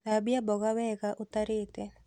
Thambia mmboga wega ũtarĩte